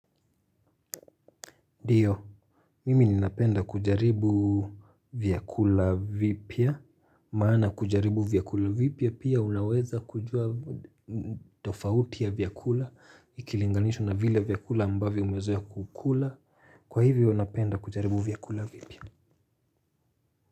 Ndiyo, mimi ninapenda kujaribu vyakula vipya, maana kujaribu vyakula vipya pia unaweza kujua tofauti ya vyakula, ikilinganishwa na vile vyakula ambavyo umezoea kukula, kwa hivyo napenda kujaribu vyakula vipya.